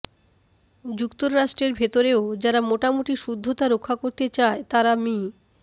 যুক্তরাষ্ট্রের ভেতরেও যারা মোটামুটি শুদ্ধতা রক্ষা করতে চায় তারা মি